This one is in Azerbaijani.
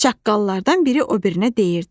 Çaqqallardan biri o birinə deyirdi.